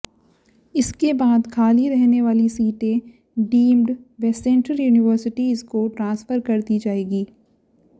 इसके बाद खाली रहने वाली सीटें डीम्ड व सेंट्रल यूनिवर्सिटीज को ट्रांसफर कर दी जाएंगी